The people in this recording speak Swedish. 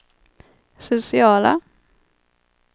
sociala